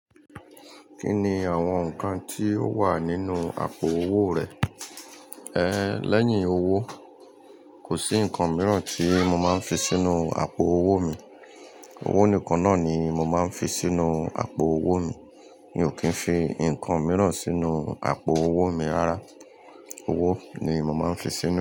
Kí ni àwọn nǹkan tí ó wà nínú àpò owó rẹ? Ẹ̀ lẹ́yìn owó, kò sí nǹkan mìíràn tí mo máa ń fi sínú àpò owó mi. Owó nìkan náà ni mo máa ń fi sínú àpò owó mi. Mi ò kí ń fi nǹkan mìíràn sínú àpò owó mi rárá. Owó ni mo máa ń fi sínú rẹ̀.